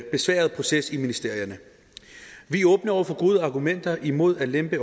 besværlig proces i ministerierne vi er åbne over for gode argumenter imod at lempe